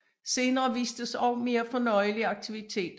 Senere vistes også mere fornøjelige aktiviteter